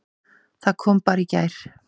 Það kom bara í gær!